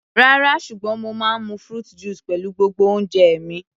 Rárá, ṣùgbọ́n mo máa ń mu fruit juice pẹ̀lú gbogbo oúnjẹ mi.